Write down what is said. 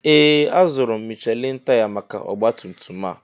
Ee! Azụrụ m Michelin taya maka ọgbatumtum a.